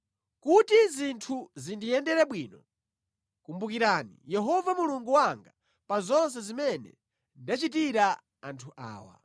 Kuti zinthu zindiyendere bwino, kumbukirani Yehova Mulungu wanga pa zonse zimene ndachitira anthu awa.